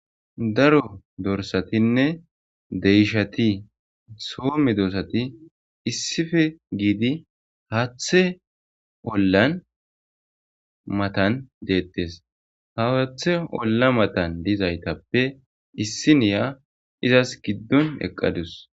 Daro dorssathinne deyshathi soo medosathi issipe gidi haththe ollan mathan dethess. Ha haththe olla mathan dizayttape issinyya izzas gidon eqadus.